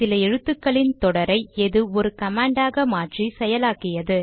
சில எழுத்துக்களின் தொடரை எது ஒரு கமாண்ட் ஆக மாற்றி செயலாக்கியது